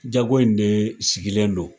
Jago in de sigilen don.